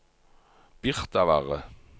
Birtavarre